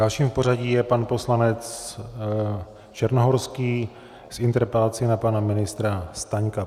Další v pořadí je pan poslanec Černohorský s interpelací na pana ministra Staňka.